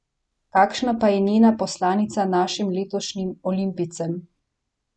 Kakšna pa je njena poslanica našim letošnjim olimpijcem?